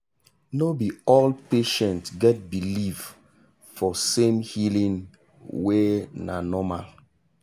no be all patient get believe for same healing way na normal.